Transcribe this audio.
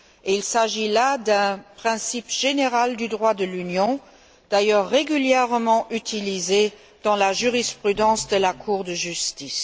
Il s'agit là d'un principe général du droit de l'Union, d'ailleurs régulièrement utilisé dans la jurisprudence de la Cour de justice.